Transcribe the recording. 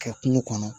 Kɛ kungo kɔnɔ